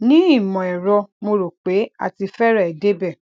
ni imọẹrọ mo rò pé a ti fẹrẹẹ débẹ